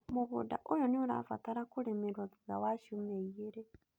Mũgũnda ũyũ nĩ ũrabatara kũrĩmĩrwo thutha wa ciumia igeerĩ.